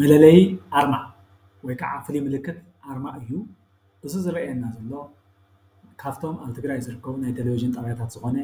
መለለዪ ኣርማ ወይ ከዓ ፍሉይ ምልክት ኣርማ እዩ። እዚ ዝረኣየና ዘሎ ካፍቶም ኣብ ትግራይ ዝርከቡ ናይ ቴሌቭዥን ጣብያታት ዝኾነ